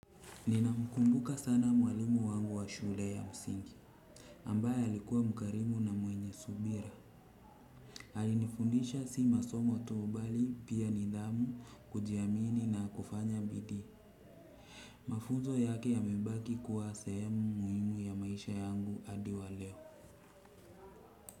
Ninamkumbuka sana mwalimu wangu wa shule ya msingi ambaye alikuwa mkarimu na mwenye subira. Alinifundisha si masomo tu bali pia nidhamu kujiamini na kufanya bidii. Mafunzo yake yamebaki kuwa sehemu muhimu ya maisha yangu hadi wa leo.